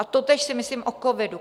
A totéž si myslím o covidu.